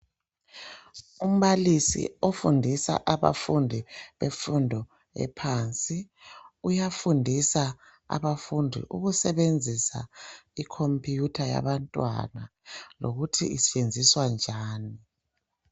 Umbalisi ofundisa abafundi bemfundo ephansi. Uyafundisa abafundi ukusebenzisa icomputer yabantwana, lokuthi isetshenziswa njani.